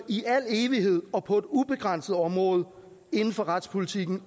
i al evighed og på et ubegrænset område inden for retspolitikken